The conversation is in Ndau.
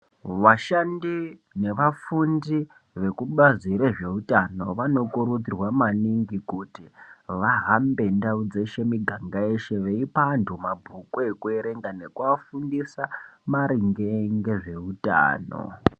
Vashandi nevafundi vekubazi rezveutano vanokurudzirwa maningi kuti ,vahambe ndau dzeshe miganga yeshe ,veipa antu mabhuku ekuerenga nekuafundisa, maringe ngezveutano.